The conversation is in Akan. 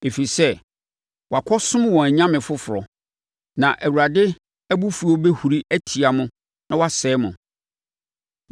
Ɛfiri sɛ, wɔakɔsom wɔn anyame foforɔ. Na Awurade abufuo bɛhuru atia mo na wasɛe mo.